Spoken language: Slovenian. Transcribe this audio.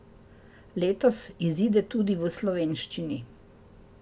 Letos izide tudi v slovenščini.